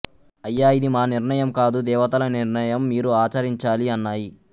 అయ్యా ఇది మా నిర్ణయం కాదు దేవతల నిర్ణయం మీరు ఆచరించాలి అన్నాయి